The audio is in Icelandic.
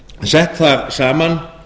sett þar saman